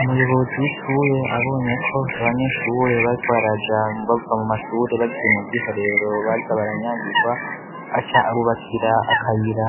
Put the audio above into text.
Umuyobozi w'ishure abonye ko abanyeshure bariko baraja bava mu mashure bagiye mu bw'iherero baza baranyagirwa aca abubakira akayira